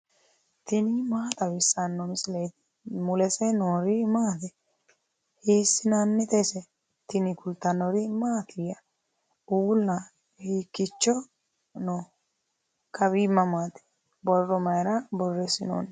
tini maa xawissanno misileeti ? mulese noori maati ? hiissinannite ise ? tini kultannori mattiya? Uulla hiikicho noo? Kawi mamaatti? Borro mayiira borreessinoonni?